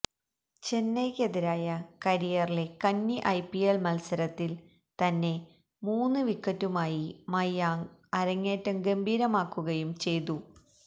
ചെന്നൈക്കെതിരായ കരിയറിലെ കന്നി ഐപിഎല് മല്സരത്തില് തന്നെ മൂന്നു വിക്കറ്റുമായി മയാങ്ക് അരങ്ങേറ്റം ഗംഭീരമാക്കുകയും ചെയ്തു